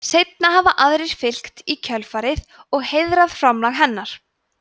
seinna hafa aðrir fylgt í kjölfarið og heiðrað framlag hennar